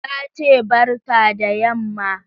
Ta ce ''barka da yamma''.